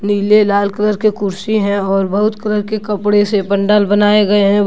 पीले लाल कलर के कुर्सी हैं और बहुत कलर के कपड़े से पंडाल बनाया गए हैं।